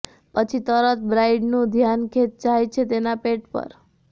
પછી તરત બ્રાઈડનું ધ્યાન જાય છે તેના પેટ પર